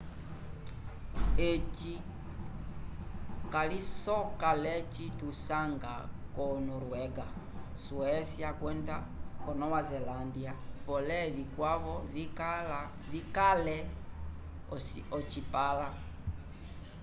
eci calisoka l'eci tusanga ko noruega suécia kwenda nova zelândia pole vikwavo vikale ocipãla